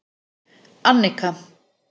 Annika